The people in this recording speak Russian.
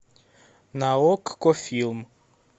на окко фильм